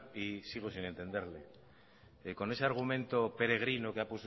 y sigo sin entenderle con ese argumento peregrino que ha